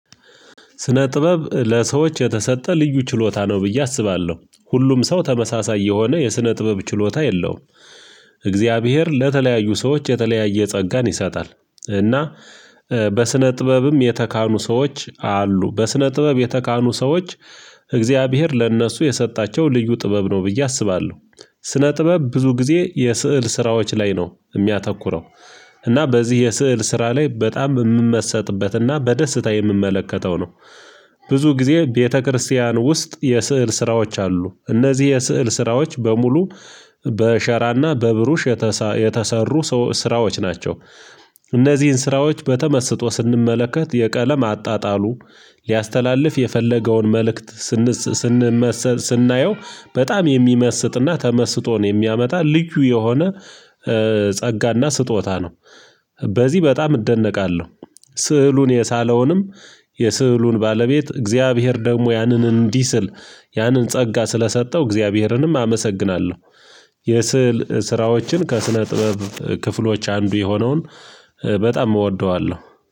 ስነ ጥበብ ለሰዎች የተሰጠ ልዩ ችሎታ ነው ብዬ አስባለሁ ሁሉም ሰው ተመሳሳይ የሆነ የስነ ጥበብ ችሎታ የለውም። እግዚአብሔር ለተለያዩ ሰዎች የተለያየ ጸጋን ይሰጣል። እና በስነ ጥበብም የተካኑ ሰዎች አሉ በስነ ጥበብ የተካኑ ሰዎች እግዚአብሔር ለእነሱ የሰጣቸው ልዩ ጥበብ ነው ብዬ አስባለሁ። ስነ ጥበብ ብዙ ጊዜ የስዕል ስራዎች ላይ ነው የሚያተኩረው እና በዚህ የስዕል ስራ ላይ በጣም የምመሰጥበት እና በደስታ የምመለከተው ነው። ብዙ ጊዜ ቤተክርስቲያን ውስጥ የስዕል ስራዎች አሉ እነዚህ የስዕል ስራዎች በሙሉ በሸራ እና በብሩሽ የተሳ የተሰሩ ሰዎ ስራዎች ናቸው። እነዚህን ስራዎች በተመስጦ ስንመለከት የቀለም አጣጣሉ ሊያስተላልፍ የፈለገውን መልእክት ስንስ ስንመሰል ስናየው በጣም የሚመስጥ እና ተመስጦን የሚያመጣ ልዩ የሆነ ጸጋ እና ስጦታ ነው። በዚህ በጣም እደነቃለሁ ስዕሉን የሳለውንም የስዕሉን ባለቤት እግዚአብሔር ደግሞ ያንን እንዲስል ያንን ጸጋ ስለሰጠው እግዚአብሔርንም አመሰግናለሁ። የስዕል ስራዎችን ከስነ ጥበብ ክፍሎች አንዱ የሆነውን በጣም እወደዋለሁ።